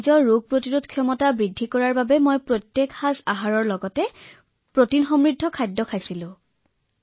ৰোগ প্ৰতিৰোধ ক্ষমতা বৃদ্ধিৰ বাবে মই দিনটোত যেতিয়াই মোৰ খাদ্য খাও তেতিয়াই মই যি প্ৰটিন সমৃদ্ধ আহাৰ স্বাস্থ্যকৰ খাদ্য গ্ৰহণ কৰিছিলো